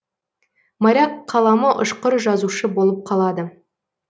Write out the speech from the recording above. моряк қаламы ұшқыр жазушы болып қалады